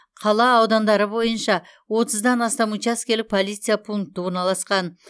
қала аудандары боиынша отыздан астам учаскелік полиция пункті орналасқан